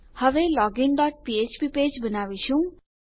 હવે login dot ફ્ફ્પ page બનાવીશું